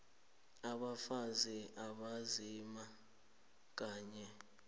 abafazi abanzima kanye